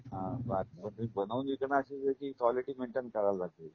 हां जर तुम्ही बनवून विकणार असेल तर त्याची क्वालिटी मेंटेन करावी लागते